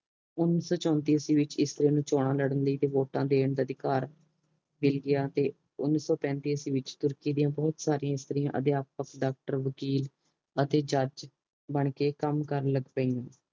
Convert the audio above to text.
ਓਨੀ ਸੋ ਪੇਨਤੀ ਈਸਵੀ ਵਿੱਚ ਇਸਤਰੀਆਂ ਨੂੰ ਚੋਣਾਂ ਲੜ੍ਹਨ ਲਈ ਅਤੇ ਵੋਟਾਂ ਦੇਣ ਦਾ ਅਧਿਕਾਰ ਮਿਲ ਗਿਆ ਅਤੇ ਓਨੀ ਸੋ ਪੈਂਤੀ ਈਸਵੀ ਵਿੱਚ ਤੁਰਕੀ ਦੀਆਂ ਬਹੁਤ ਸਾਰੀ ਇਸਤਰੀਆਂ ਅਧਿਆਪਕ ਡਾਕਟਰ ਵਕਿਲ ਅਤੇ ਜੱਜ ਬਣ ਕੇ ਕੰਮ ਕਰਨ ਲੱਗ ਪਇਆ